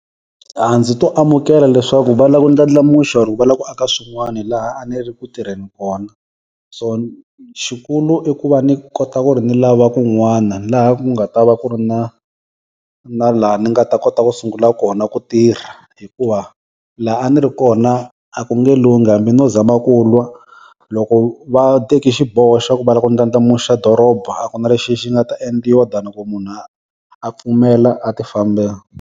A ndzi to amukela leswaku va lava ku ndlandlamuxa or va lava ku aka swin'wani laha a ni ri ku tirheni kona. So xikulu i ku va ni kota ku ri ni lava kun'wana laha ku nga ta va ku ri na na laha ni nga ta kota ku sungula kona ku tirha. Hikuva laha a ni ri kona a ku nge lunghi, hambi no zama ku lwa loko va teki xiboho xa ku va lava ku ndlandlamuxa dorobeni a ku na lexi xi nga ta endliwa than ku munhu a a pfumela a ti fambela.